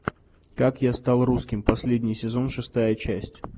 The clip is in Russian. как я стал русским последний сезон шестая часть